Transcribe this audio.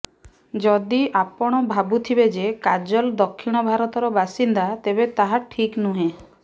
ଯଦି ଆପଣ ଭାବୁଥିବେ ଯେ କାଜଲ ଦକ୍ଷିଣ ଭାରତର ବାସିନ୍ଦା ତେବେ ତାହା ଠିକ୍ ନୁହେଁ